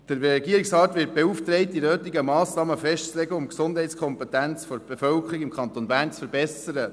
Der Regierungsrat wird beauftragt, die nötigen Massnahmen festzulegen, um die Gesundheitskompetenz der Bevölkerung im Kanton Bern zu verbessern.